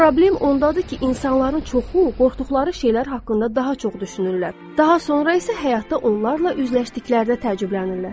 Problem ondadır ki, insanların çoxu qorxduqları şeylər haqqında daha çox düşünürlər, daha sonra isə həyatda onlarla üzləşdikdə təəccüblənirlər.